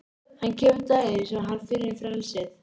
Hann kemur daginn sem hann finnur frelsið.